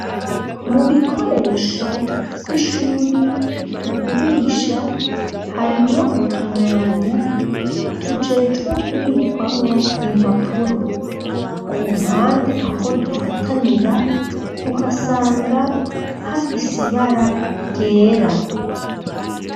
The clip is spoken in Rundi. Mu bikoresho vy'ishuri, tugurisha, harimwo utumwanya, tujejwe kubikwamwo impapuro; ku mpande, aho dufatanira, uhasanga hafise ibara ryera.